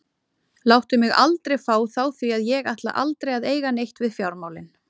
Láttu mig aldrei fá þá því að ég ætla aldrei að eiga neitt við fjármálin.